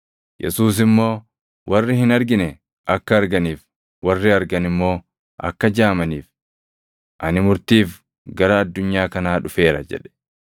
Yesuus immoo, “Warri hin argine akka arganiif, warri argan immoo akka jaamaniif ani murtiif gara addunyaa kanaa dhufeera” jedhe.